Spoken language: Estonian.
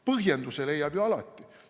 Põhjenduse leiab ju alati.